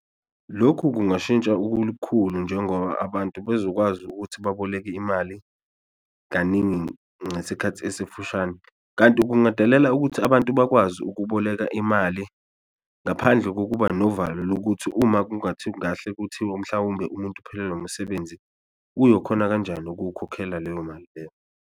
Lokhu kungashintsha ukulukhulu njengoba abantu bezokwazi ukuthi baboleke imali kaningi ngesikhathi esifushane, kanti kungadalela ukuthi abantu bakwazi ukuboleka imali ngaphandle kokuba novalo lokuthi uma kuthiwa mhlawumbe umuntu uphelelwa umsebenzi uyokhona kanjani ukuwukhokhela leyo mali leyo.